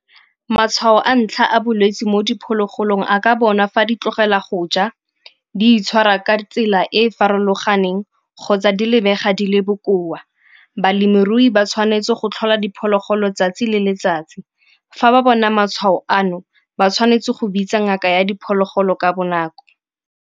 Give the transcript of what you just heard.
Matshwao a ntlha a bolwetsi mo diphologolong a ka bona fa di tlogela go ja, di itshwara ka tsela e e farologaneng kgotsa di lebega di le bokoa. Balemirui ba tshwanetse go tlhola diphologolo 'tsatsi le letsatsi. Fa ba bona matshwao ano, ba tshwanetse go bitsa ngaka ya diphologolo ka bonako.